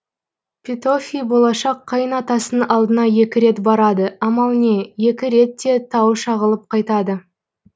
петофи болашақ қайын атасының алдына екі рет барады амал не екі рет те тауы шағылып қайтады